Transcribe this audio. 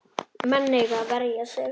Menn eiga að verja sig.